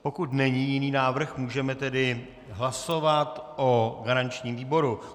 Pokud není jiný návrh, můžeme tedy hlasovat o garančním výboru.